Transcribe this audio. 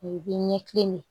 U bɛ ɲɛkili min